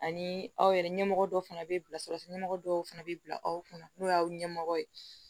Ani aw yɛrɛ ɲɛmɔgɔ dɔw fana bɛ bila sira ɲɛmɔgɔ dɔw fana bɛ bila aw kunna n'o y'aw ɲɛmɔgɔ ye